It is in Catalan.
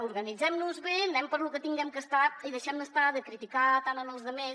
organitzemnos bé anem per lo que haguem de fer i deixemnos estar de criticar tant els altres